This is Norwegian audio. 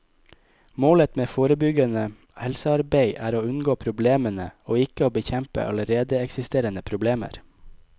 Målet med forebyggende helsearbeid er å unngå problemene, og ikke å bekjempe allerede eksisterende problemer.